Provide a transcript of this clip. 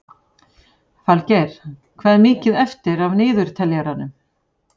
Falgeir, hvað er mikið eftir af niðurteljaranum?